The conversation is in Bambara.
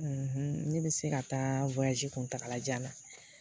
ne bɛ se ka taa kuntagala jan na.